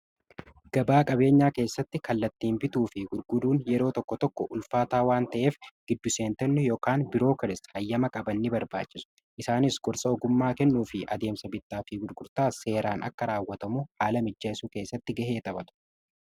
Gabaa qabeenyaa keessatti kallattiin bituu fi gurguruun yeroo tokko tokko ulfaataa waan ta'eef giddu seentonni yookaan birookiraasii hayyama qaban ni barbaachisu. Isaanis gorsa ogummaa kennuu fi adeemsa bittaa fi gurgurtaa seeraan akka raawwatamu haala mijjeesu keessatti gahee taphatu.